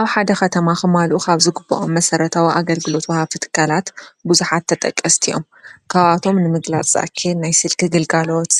ኣብ ከተማ ክማልኡ ካብ ዝግበኦም ኣገልግሎት ዋሃብቲ ትካላት ብዙሓት ተጠቀስቲ እዮም፡፡ ካብኣቶም ንምግላፅ ዝኣክል ናይ ስልኪ ግልጋሎት